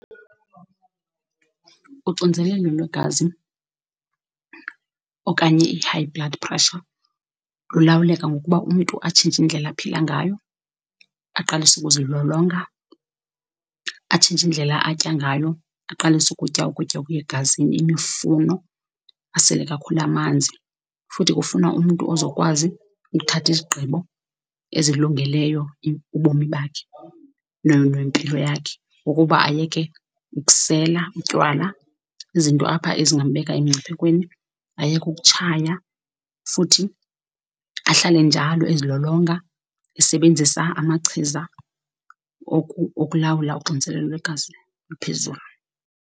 Uxinzelelo lwegazi okanye i-high blood pressure lulawuleka ngokuba umntu atshintshe indlela aphila ngayo, aqalise ukuzilolonga, atshintshe indlela atya ngayo, aqalise ukutya ukutya okuya egazini, imifuno, asele kakhulu amanzi. Futhi kufuna umntu ozokwazi ukuthatha izigqibo ezilungeleyo ubomi bakhe nempilo yakhe, ukuba ayeke ukusela utywala, izinto apha ezingambeka emngciphekweni, ayeke ukutshaya futhi ahlale njalo ezilolonga, esebenzisa amachiza okulawula uxinezelelo lwegazi oluphezulu.